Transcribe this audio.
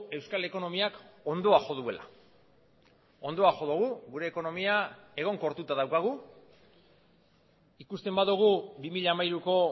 euskal ekonomiak hondoa jo duela hondoa jo dugu gure ekonomia egonkortuta daukagu ikusten badugu bi mila hamairuko